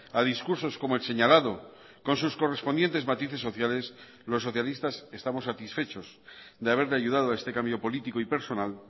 a discursos como el señalado con sus correspondientes matices sociales los socialistas estamos satisfechos de haberle ayudado a este cambio político y personal